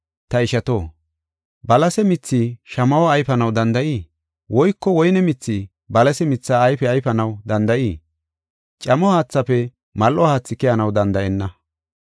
Ta ishato, balase mithi shamaho ayfanaw danda7ii? Woyko woyne mithi balase mitha ayfe ayfanaw danda7ii? Camo haathaafe mal7o haathi keyanaw danda7enna.